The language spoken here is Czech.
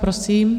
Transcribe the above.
Prosím.